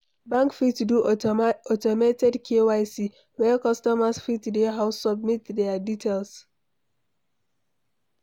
Bank fit do automated KYC, where customers fit dey house submit their details